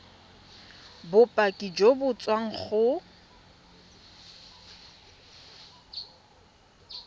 bopaki jo bo tswang go